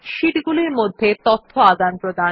sheet গুলির মধ্যে তথ্য আদানপ্রদান